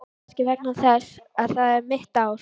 Kannski vegna þess að það er mitt ár.